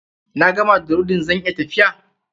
Na gama da rodin, zan iya tafiya?